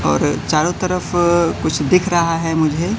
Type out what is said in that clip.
और चारों तरफ कुछ दिख रहा है मुझे।